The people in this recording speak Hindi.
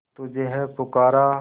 तुझे है पुकारा